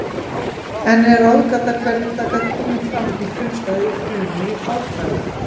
Enn er ráðgáta hvernig það gat komið fram í frumstæðri frumu í árdaga.